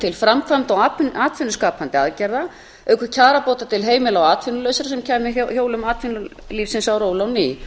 til framkvæmda og atvinnuskapandi aðgerða auk kjarabóta til heimila og atvinnulausra sem kæmi hjólum atvinnulífsins á ról á ný